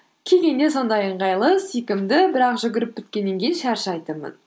кигенге сондай ыңғайлы сүйкімді бірақ жүгіріп біткеннен кейін шаршайтынмын